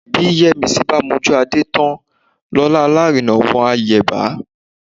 Bí Yẹ́misí bá mojú Adé tán lọ́la alárinà wọn á yẹ̀bá